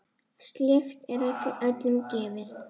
Slíkt er ekki öllum gefið.